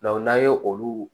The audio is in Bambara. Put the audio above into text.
n'an ye olu